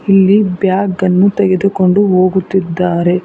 ಇಲ್ಲಿ ಬ್ಯಾಗ್ ಅನ್ನು ತೆಗೆದುಕೊಂಡು ಹೋಗುತ್ತಿದ್ದಾರೆ.